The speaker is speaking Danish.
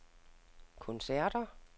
koncerter